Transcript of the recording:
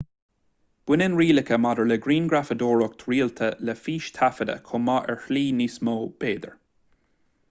baineann rialacha maidir le grianghrafadóireacht rialta le fístaifeadadh chomh maith ar shlí níos mó b'fhéidir